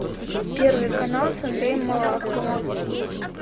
первый канал с андреем малаховым